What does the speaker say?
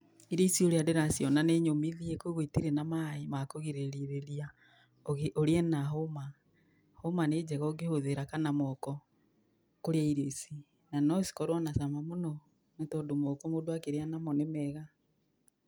irio ici ũrĩa ndĩraciona nĩ nyũmithie, koguo itirĩ na maĩ ma kũgirĩrĩia urie na hũm , hũma nĩ njega ũkĩhũthĩra kana moko, kũrĩa irio ici na no ikorwo na cama mũno, tondũ mũndũ akĩrĩa na moko nĩ mega.